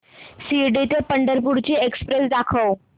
शिर्डी ते पंढरपूर ची एक्स्प्रेस दाखव